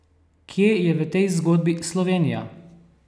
Kje je v tej zgodbi Slovenija?